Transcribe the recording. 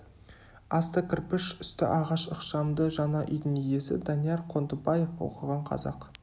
асты кірпіш үсті ағаш ықшамды жаңа үйдің иесі данияр қондыбаев оқыған қазақ